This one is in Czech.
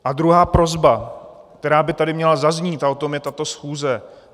A druhá prosba, která by tady měla zaznít, a o tom je tato schůze.